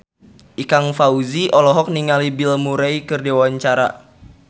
Ikang Fawzi olohok ningali Bill Murray keur diwawancara